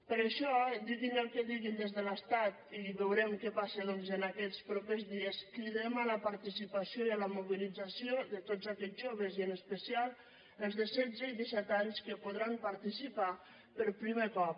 per això diguin el que diguin des de l’estat i veurem què passa doncs en aquests propers dies cridem a la participació i a la mobilització de tots aquells joves i en especial els de setze i disset anys que hi podran participar per primer cop